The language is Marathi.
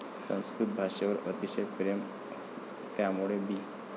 संस्कृत भाषेवर अतिशय प्रेम, त्यामुळे बी